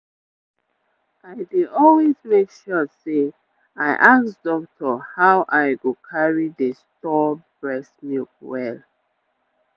i dey always make sure say i ask doctor how i go carry dey store breast milk well.